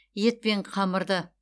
ет пен қамырды